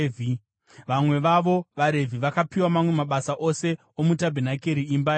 Vamwe vavo vaRevhi vakapiwa mamwe mabasa ose omutabhenakeri, imba yaMwari.